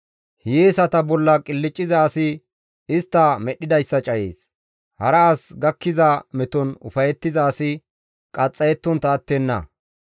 Hiyeesata bolla qilcciza asi istta medhdhidayssa cayees; hara as gakkiza meton ufayettiza asi qaxxayettontta attenna.